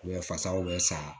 U bɛ fasaw bɛ sa